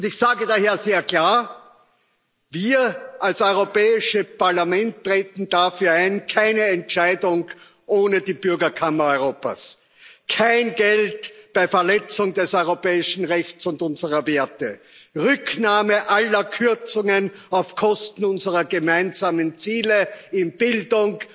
Ich sage daher sehr klar Wir als Europäisches Parlament treten dafür ein keine Entscheidung ohne die Bürgerkammer Europas, kein Geld bei Verletzung des europäischen Rechts und unserer Werte, Rücknahme aller Kürzungen auf Kosten unserer gemeinsamen Ziele in Bildung,